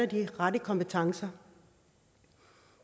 de rette kompetencer